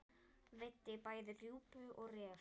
Veiddi bæði rjúpu og ref.